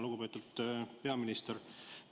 Lugupeetud peaminister!